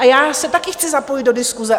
A já se také chci zapojit do diskuse.